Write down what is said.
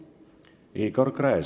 Igor Gräzin.